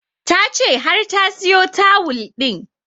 Ta ce har ta siyo tawul ɗin